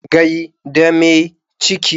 Gai da mai ciki.